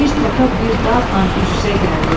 Bir təpə bir dağnan üz-üzə gəldi.